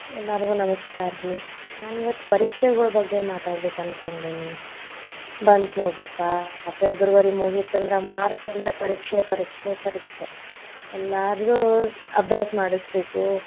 ಎಲ್ಲರಿಗು ನಮಸ್ಕಾರ ರೀ, ನಾನ್ ಇವತ್ತ್ ಪರೀಕ್ಷೆಗೋಳ ಬಗ್ಗೆ ಮಾತಾಡಬೇಕ್ ಅನ್ಕೊಂಡೆನಿ, ಬಂತ ನೋಡ್ರಿ ಪಾ, January ಮುಗಿತಂದ್ರ March ಅಂದ್ರ ಪರೀಕ್ಷೆ ಪರೀಕ್ಷೆ ಪರೀಕ್ಷೆ, ಎಲ್ಲಾರದು ಅಭ್ಯಾಸ ಮಾಡಿಸ್ಬೇಕು.